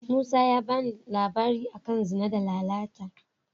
Musa ya ba ni labari a kan Zina da Lalata.